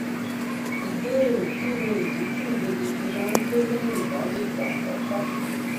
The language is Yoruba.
ìbéèrè kí nìdí tí ìbejì fi máa ń pé léyìn ìbálòpò àkókó